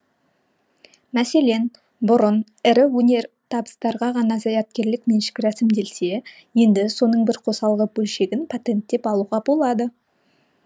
мәселен бұрын ірі өнертабыстарға ғана зияткерлік меншік рәсімделсе енді соның бір қосалқы бөлшегін патенттеп алуға болады